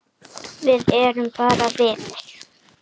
Við erum bara vinir.